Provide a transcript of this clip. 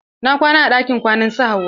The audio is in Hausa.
Na kwana a ɗakin kwanan su Hauwa.